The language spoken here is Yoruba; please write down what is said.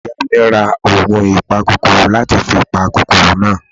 iyá mi rá oògùn ìpá kòkòrò láti fi pa kòkòrò náà.